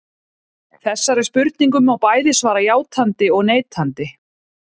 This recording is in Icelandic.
Þessari spurningu má bæði svara játandi og neitandi.